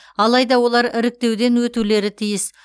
алайда олар іріктеуден өтулері тиіс